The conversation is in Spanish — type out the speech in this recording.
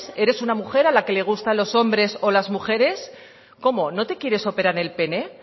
eres una mujer a la que le gustan los hombres o las mujeres cómo no te quieres operar el pene